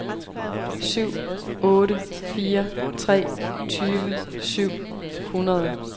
syv otte fire tre tyve syv hundrede